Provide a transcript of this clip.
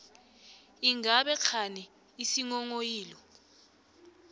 ingabe kghani isinghonghoyilo